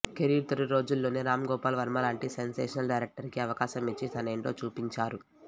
career తొలి రోజుల్లోనే రామ్ గోపాల్ వర్మ లాంటి సెన్సేషనల్ డైరెక్టర్కి అవకాశమిచ్చి తనేంటో చూపించారు